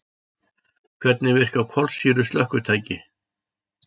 Hvernig virka kolsýru slökkvitæki?